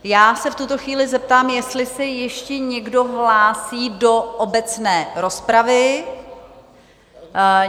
Já se v tuto chvíli zeptám, jestli se ještě někdo hlásí do obecné rozpravy?